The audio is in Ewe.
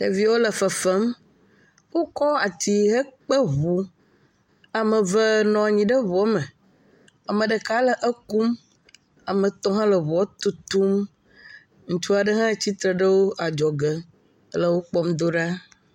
ɖeviwo le fefem wókɔ ati he kpe ʋu ameve nɔnyi ɖe ʋuɔ me ame ɖeka le ekom ametɔ̃ hã le ʋuɔ tutum ŋutsua ɖe hã tsitre ɖe adzɔge le wokpɔm do ɖa